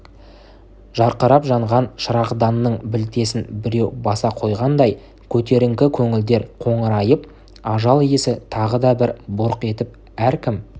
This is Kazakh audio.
жарқырап жанған шырағданның білтесін біреу баса қойғандай көтеріңкі көңілдер қоңырайып ажал иісі тағы да бір бұрқ етіп әркім